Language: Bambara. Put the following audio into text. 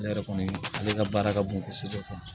Ne yɛrɛ kɔni ale ka baara ka bon kosɛbɛ